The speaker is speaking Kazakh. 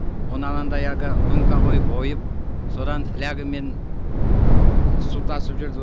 оны анандай әлгі лунка қойып ойып содан флягамен су тасып жүрді